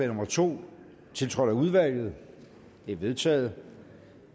nummer to tiltrådt af udvalget det er vedtaget